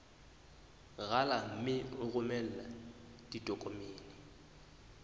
rala mme o romele ditokomene